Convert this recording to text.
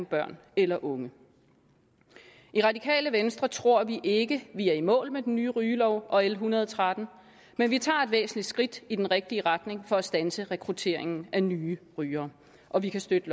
børn eller unge i radikale venstre tror vi ikke vi er i mål med den nye rygelov og l en hundrede og tretten men vi tager et væsentligt skridt i den rigtige retning for at standse rekrutteringen af nye rygere og vi kan støtte